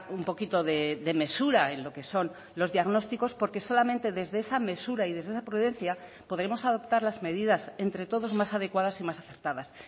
un poquito de mesura en lo que son los diagnósticos porque solamente desde esa mesura y desde esa prudencia podremos adoptar las medidas entre todos más adecuadas y más acertadas